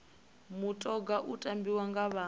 mutoga u tambiwa nga vha